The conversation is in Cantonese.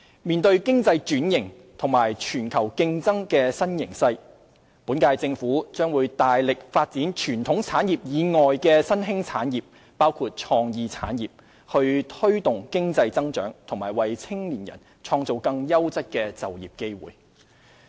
面對經濟轉型和全球競爭的新形勢，本屆政府將大力發展傳統產業以外的新興產業，包括創意產業，以推動經濟增長及為青年人創造更優質的就業機會。